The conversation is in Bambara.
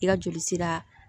I ka joli sira